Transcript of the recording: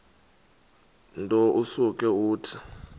nto usuke uthi